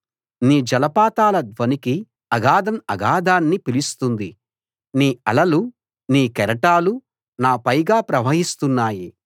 నీ జలపాతాల ధ్వనికి అగాధం అగాధాన్ని పిలుస్తుంది నీ అలలూ నీ కెరటాలూ నా పైగా ప్రవహిస్తున్నాయి